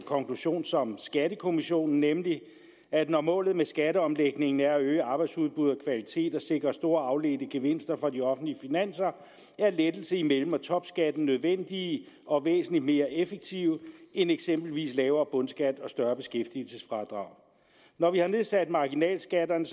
konklusion som skattekommissionen nemlig at når målet med skatteomlægningen er at øge arbejdsudbuddet og kvalitet samt sikre store afledte gevinster for de offentlige finanser er lettelser i mellem og topskatten nødvendige og væsentlig mere effektive end eksempelvis lavere bundskat og større beskæftigelsesfradrag når vi har nedsat marginalskatterne